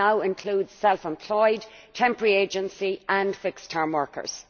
It now includes self employed, temporary agency and fixed term workers.